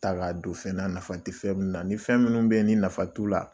ta k'a don fɛn na nafa tɛ fɛn min na ni fɛn minnu bɛ ni nafa t'u la